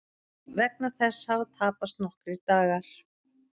Vegna þess hafa tapast nokkrir dagar